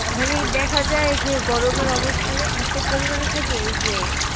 মানে দেখা যাই যে গরমের অবস্থা টা এতো পরিমানে থাকে ঐযে,